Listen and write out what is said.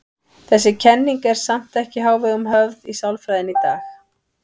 Þessi kenning er samt ekki í hávegum höfð í sálfræðinni í dag.